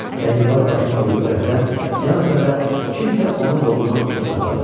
Kəndirbaz başını bulayıb Rəfidən yan ötəndə kimsə onun qolundan tutub saxladı.